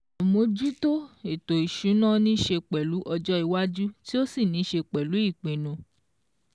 Àmójútó ètò ìsúná ní ṣe pẹ̀lú ọjọ́ iwájú tí ó sì ní ṣe pẹ̀lú ìpinnu